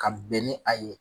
Ka bɛn ni a ye